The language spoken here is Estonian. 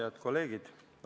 Head kolleegid!